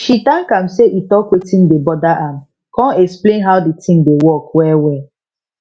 she thank am say e talk wetin dey bother am con explain how the thing dey work well well